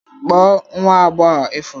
Kpọọ nwa agbọghọ ifuru